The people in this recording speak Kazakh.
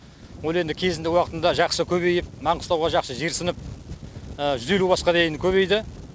ол енді кезінде уақытында жақсы көбейіп маңғыстауға жақсы жерсініп жүз елу басқа дейін көбейді